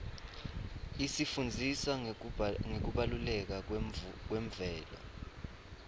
isifundzisa ngekubaluleka kwemvelo